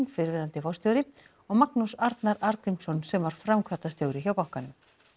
fyrrverandi forstjóri og Magnús Arnar Arngrímsson sem var framkvæmdastjóri hjá bankanum